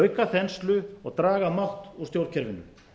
auka þenslu og draga mátt úr stjórnkerfinu